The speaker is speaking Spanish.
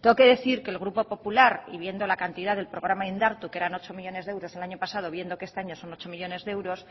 tengo que decir que el grupo popular y viendo la cantidad del programa indartu que eran ocho millónes de euros el año pasado viendo que este año son ocho millónes de euros